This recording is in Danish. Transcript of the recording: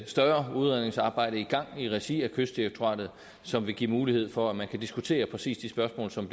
større udredningsarbejde i gang i regi af kystdirektoratet som vil give mulighed for at man kan diskutere præcis de spørgsmål som